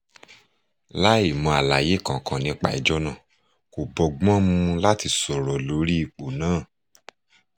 láì mọ àlàyé kankan nípa ẹjọ́ náà kò bọ́gbọ́n mu láti sọ̀rọ̀ lórí ipò náà